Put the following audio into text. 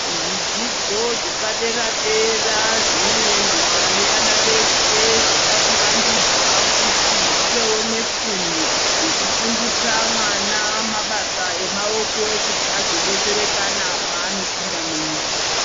Zvidzidzo zvepadera-dera zvinoendwa nevana vese, zvava kuvandudzwa kuti zvivewo nefundo yekufundisa mwana mabasa emaoko, kuti azodetserekana paanopinda munyika.